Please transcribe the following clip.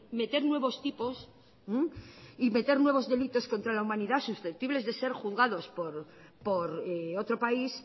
meter nuevos tipos y meter nuevos delitos contra la humanidad susceptibles de ser juzgados por otro país